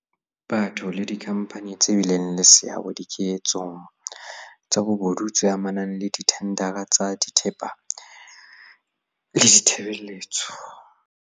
Batho le dikhampani tse bileng le seabo dike tsong tsa bobodu tse amanang le dithendara tsa thepa le ditshebele tso tsa